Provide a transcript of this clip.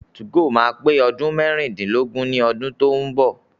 2go máa pé ọdún mẹ́rìndínlógún ní ọdún tó ń bọ̀.